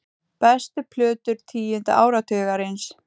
Bestu plötur tíunda áratugarins